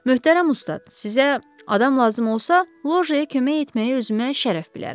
Möhtərəm ustad, sizə adam lazım olsa, lojaya kömək etməyi özümə şərəf bilərəm.